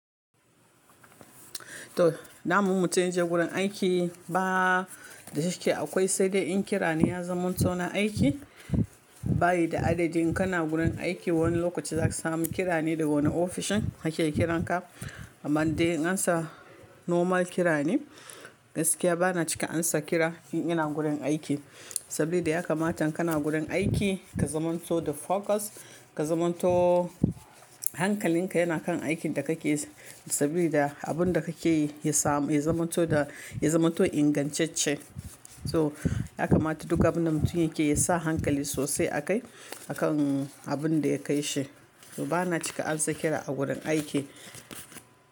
To, daman mutum ya je gurin aiki ba da cike akwai sai dai in kira ni ya zama to na aiki. Bayi da adadi in kana gurin aiki wani lokaci zaka samu kira ne da wani ofishin yake kiran ka. Amman dai ansa normal kira ne. Gaskiya bana cika ansa kira in ina gurin aiki. Saboda ya kamata kana gurin aiki ka zamanto da focus, ka zamanto hankalin ka yana kan aikin da kake saboda abun da kake yi ya samu ya zamanto da ya zamanto ingantacce. So ya kamata duka abinda mutum yake ya sa hankali sosai a kai akan abun da ya kai shi. So bana cika ansa kira a gurin aiki.